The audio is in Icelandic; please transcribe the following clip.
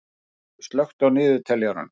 Friðleif, slökktu á niðurteljaranum.